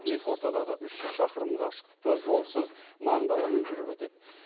екі ортадағы үш жүз шақырым қашықтықты жолсыз наң даламен жүріп өтеді